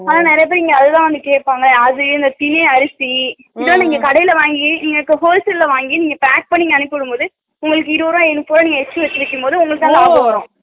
அதும் நிறைய பேர் அவங்களா வந்து கேப்பாங்க திணை அரிசி இதே நீங்க கடைல வாங்கி wholesale ல வாங்கி நீங்க pack பண்ணி அனுப்பும்போது இருபது ரூபா exrtra